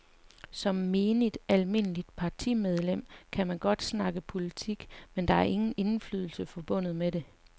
Som menigt, almindeligt partimedlem kan man godt snakke politik, men der er ingen indflydelse forbundet med det.